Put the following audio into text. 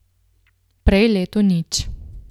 Prej leto nič.